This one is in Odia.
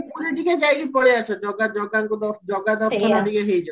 ପୁରୀ ଟିକେ ଯାଇକି ପଳେଇଆସେ ଜଗା ଜଗାଙ୍କ ଜାଗା ଦର୍ଶନ ଟା ଟିକେ ହେଇଯାଉ